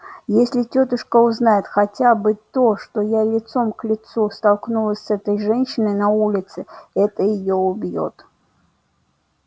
если тётушка узнает хотя бы то что я лицом к лицу столкнулась с этой женщиной на улице это её убьёт